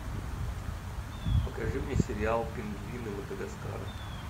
покажи мне сериал пингвины мадагаскара